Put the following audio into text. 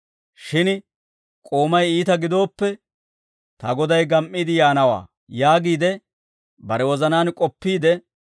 Shin k'oomay iita gidooppe, ‹Ta goday gam"iide yaanawaa› yaagiide bare wozanaan k'oppiide,